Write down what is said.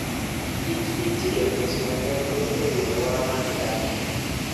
kich itiyo e timo nonro e wi alwora ma gidakie.